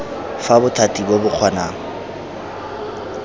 fa bothati bo bo kgonang